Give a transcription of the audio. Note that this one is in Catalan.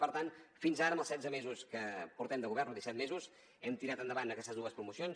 per tant fins ara en els setze mesos que portem de govern o disset mesos hem tirat endavant aquestes dues promocions